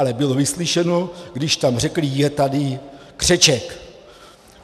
Ale bylo vyslyšeno, když tam řekli: je tady křeček.